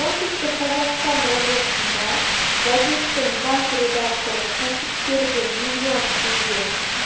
оңтүстік қазақстан облысында газеттің бас редакторы кәсіпкерден миллион теңге